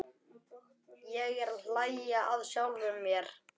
Ég er að hlæja að sjálfum mér.